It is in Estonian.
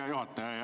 Hea juhataja!